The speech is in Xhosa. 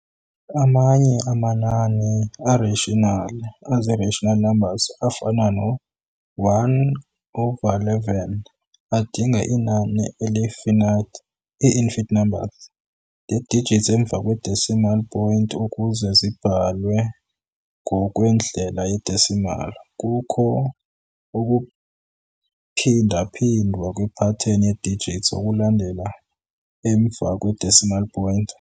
Amanye amanani a-ratiinal, azi-rational numbers, afana no-1 over 11, adinga inani eli-finate, ii-infinite numbers, lee-digits emva kwe-decimal point ukuze zibhalwe ngokwendlela ye-decimal. kukho ukuphindaphindwa kwe-pattern yee-digits okulandela emva kwe-decimal point.